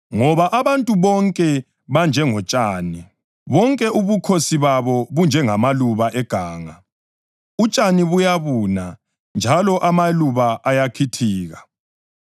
Ngoba, “Abantu bonke banjengotshani, bonke ubukhosi babo bunjengamaluba eganga; utshani buyabuna njalo amaluba ayakhithika,